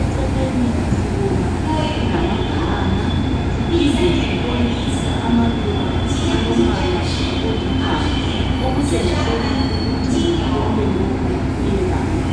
eceleni sibona kulama banana siphinde sibone amaluba alombala olithanga okutshengisela ukuthi konke lokhu kuyelapha.